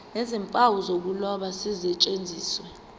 nezimpawu zokuloba zisetshenziswe